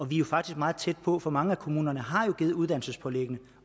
vi er faktisk meget tæt på for mange kommuner har jo givet uddannelsespålæggene